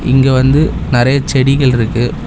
இங்க வந்து நெறைய செடிகள் இருக்கு.